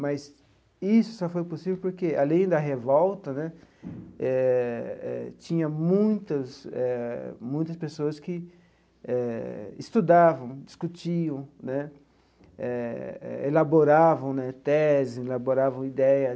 Mas isso só foi possível porque, além da revolta né, eh eh tinha muitas eh muitas pessoas que eh estudavam, discutiam né, eh elaboravam né teses, elaboravam ideias.